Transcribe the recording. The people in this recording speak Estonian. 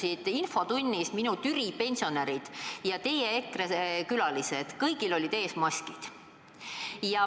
Täna istusid infotunnis minu Türi pensionärid ja teie EKRE külalised, kõigil olid ees maskid.